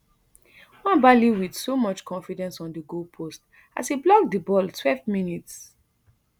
nwabali wit so much confidence on di goalpost as e block di ball twelve mins